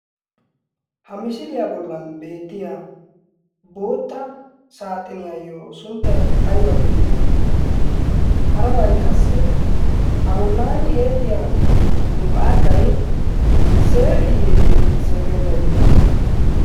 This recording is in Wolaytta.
ha misiliyaa bollan beettiya bootta saaxiniyayyo sunttay aybba geetetti ? harabay qassi a bollan eexxiya muqaaday seeriiyye seerenne?